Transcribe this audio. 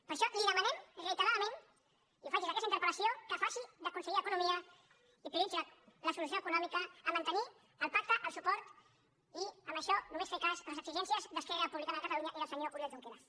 per això li demanem reiteradament i ho faig des d’aquesta interpel·lació que faci de conseller d’economia i prioritzi la solució econòmica a mantenir el pacte el suport i amb això només fer cas a les exigències d’esquerra republicana de catalunya i del senyor oriol junqueras